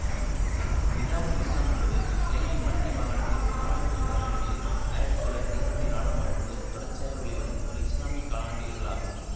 நிதாஉல் இஸ்லாம் என்பது இலங்கையின் மத்திய மாகாணத்தில் நாவலப்பிட்டி நகரிலிருந்து ஆயிரத்தி தொள்ளாயிரத்தி எம்பத்தி நாளாம் ஆண்டு முதல் தொடர்ச்சியாக வெளிவரும் ஓர் இசுலாமியக் காலாண்டு இதழாகும்